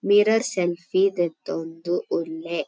Mirror selfie ದೆತ್ತೊಂದು ಉಲ್ಲೆ.